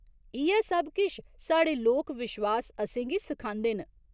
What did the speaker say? इ'यै सब किश साढ़े लोक विश्वास असें गी सखांदे न।